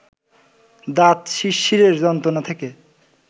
দাঁত শিরশিরের যন্ত্রণা থেকে